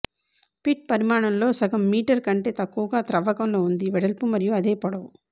pit పరిమాణంలో సగం metre కంటే తక్కువగా త్రవ్వకంలో ఉంది వెడల్పు మరియు అదే పొడవు